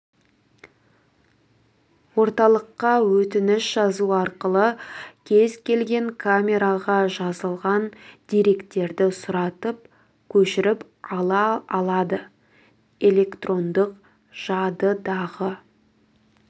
орталыққа өтініш жазу арқылы кез келген камераға жазылған деректерді сұратып көшіріп ала алады электрондық жадыдағы